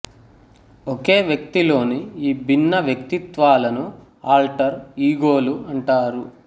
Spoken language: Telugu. ఒకే వ్యక్తిలోని ఈ భిన్న వ్యక్తిత్వాలని ఆల్టర్ ఈగోలు అంటారు